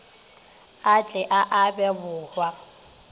a tle a abe bohwa